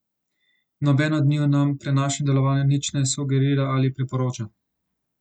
Noben od njiju nam pri našem delovanju nič ne sugerira ali priporoča.